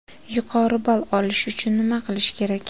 Yuqori ball olish uchun nima qilish kerak?